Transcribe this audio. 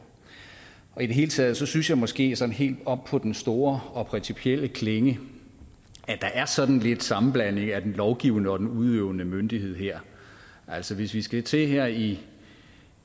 i det hele taget synes jeg måske sådan helt op på den store og principielle klinge at der er sådan lidt sammenblanding af den lovgivende og den udøvende myndighed her altså hvis vi skal til her i